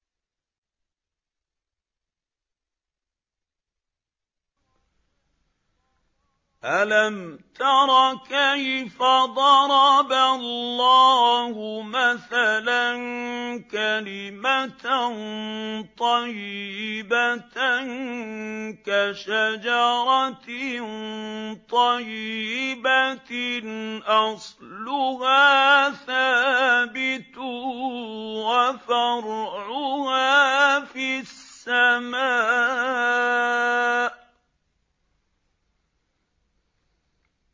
أَلَمْ تَرَ كَيْفَ ضَرَبَ اللَّهُ مَثَلًا كَلِمَةً طَيِّبَةً كَشَجَرَةٍ طَيِّبَةٍ أَصْلُهَا ثَابِتٌ وَفَرْعُهَا فِي السَّمَاءِ